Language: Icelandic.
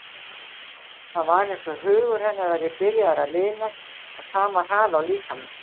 Það var eins og hugur hennar væri byrjaður að linast á sama hraða og líkaminn.